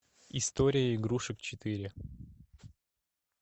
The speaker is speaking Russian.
история игрушек четыре